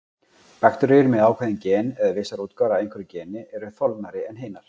Bakteríur með ákveðin gen, eða vissar útgáfur af einhverju geni, eru þolnari en hinar.